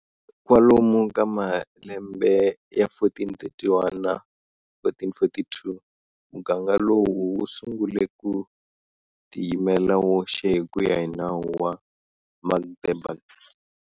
Kwalomu ka malembe ya 1431 na 1442 muganga lowu wu sungule ku tiyimela woxe hi kuya hi nawu wa Magdeburg.